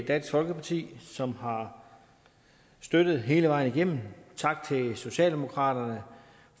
dansk folkeparti som har støttet det hele vejen igennem tak til socialdemokratiet